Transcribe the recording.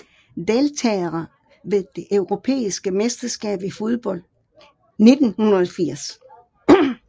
Deltagere ved det europæiske mesterskab i fodbold 1980